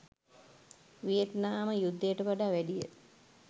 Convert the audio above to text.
Vietnam යුද්ධයට වඩා වැඩිය